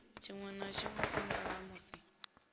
tshinwe na tshinwe phanda hamusi